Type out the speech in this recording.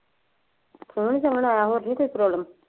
ਖੂਨ ਏ ਸੰਘਣਾ ਆਇਆ, ਹੋਰ ਵੀ ਕੋਈ Problem